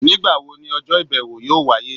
Nigbawo ni ọjọ ibẹwo yọọ waye?